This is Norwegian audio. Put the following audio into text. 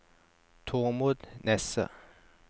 Tormod Nesse